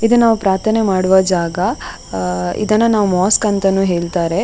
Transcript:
ಇದು ನಾವು ಪ್ರಾರ್ಥನೆ ಮಾಡುವ ಜಾಗ ಅಹ್ ಅಹ್ ಇದನ್ನ ಮೊಸ್ಕ್ ಅಂತಾನೂ ಹೇಳುತ್ತಾರೆ.